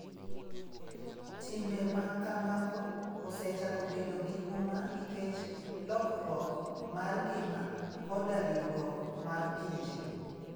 Timbe ma kamago osechako bedo gi huma nikech lokruok mar ngima koda riwruok mar pinje.